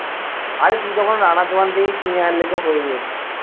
আরে তুই তখুন রানার দোকান থেকে কিনে আনলে তো হৈয়েই যেতো